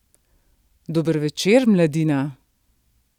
Dober večer, mladina!